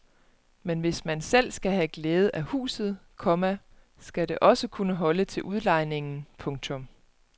Men hvis man selv skal have glæde af huset, komma skal det også kunne holde til udlejningen. punktum